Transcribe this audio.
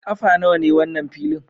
Kafa nawa ne wannan filin?